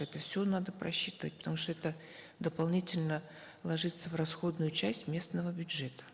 это все надо просчитывать потому что это дополнительно ложится в расходную часть местного бюджета